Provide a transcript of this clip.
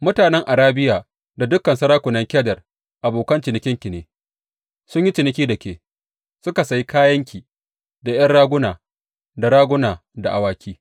Mutanen Arabiya da dukan sarakunan Kedar abokan cinikinki ne; sun yi ciniki da ke suka sayi kayanki da ’yan raguna, da raguna, da awaki.